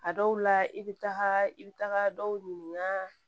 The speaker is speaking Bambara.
A dɔw la i bɛ taga i bɛ taga dɔw ɲininka